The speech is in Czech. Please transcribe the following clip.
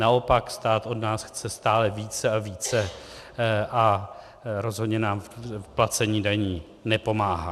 Naopak stát od nás chce stále více a více a rozhodně nám v placení daní nepomáhá.